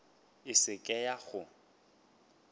e se ke ya go